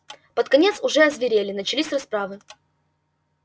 под конец уже озверели начались расправы